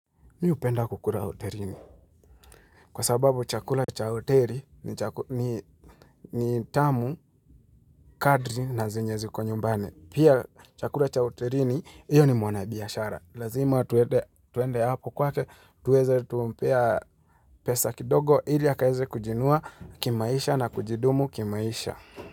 Mi hupenda kukura hoterini. Kwa sababu chakula cha hoteri, ni chaku ni ni tamu, kadri na zenye ziko nyumbani. Pia, chakura cha hoterini, iyo ni mwana biashara. Lazima tuede twende hapo kwake, tuweze tumpea pesa kidogo, ili akaeze kujiinua, kimaisha na kujidumu kimaisha.